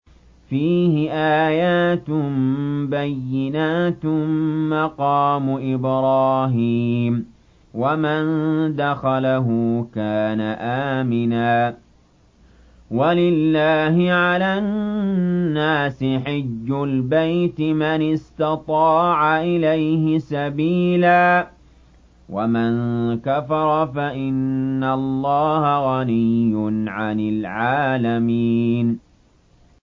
فِيهِ آيَاتٌ بَيِّنَاتٌ مَّقَامُ إِبْرَاهِيمَ ۖ وَمَن دَخَلَهُ كَانَ آمِنًا ۗ وَلِلَّهِ عَلَى النَّاسِ حِجُّ الْبَيْتِ مَنِ اسْتَطَاعَ إِلَيْهِ سَبِيلًا ۚ وَمَن كَفَرَ فَإِنَّ اللَّهَ غَنِيٌّ عَنِ الْعَالَمِينَ